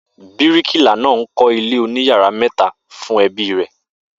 Bíríkìlá náà ń kó̩ ilé oníyàrá mè̩ta fún e̩bí rè̩